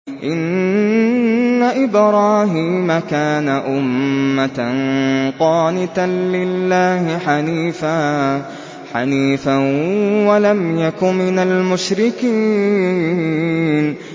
إِنَّ إِبْرَاهِيمَ كَانَ أُمَّةً قَانِتًا لِّلَّهِ حَنِيفًا وَلَمْ يَكُ مِنَ الْمُشْرِكِينَ